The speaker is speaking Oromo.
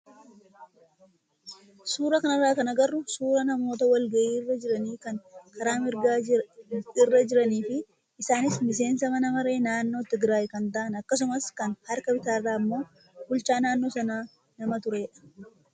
Suuraa kanarraa kan agarru suuraa namoota wal gahii irra jiranii kan karaa mirgaa irra jiranii fi isaanis miseensa mana maree naannoo Tigraay kan ta'an akkasumas kan harka bitaarraa immoo bulchaa naannoo sanaa nama turedha.